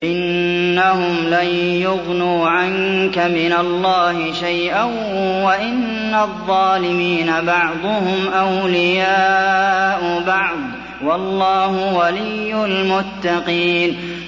إِنَّهُمْ لَن يُغْنُوا عَنكَ مِنَ اللَّهِ شَيْئًا ۚ وَإِنَّ الظَّالِمِينَ بَعْضُهُمْ أَوْلِيَاءُ بَعْضٍ ۖ وَاللَّهُ وَلِيُّ الْمُتَّقِينَ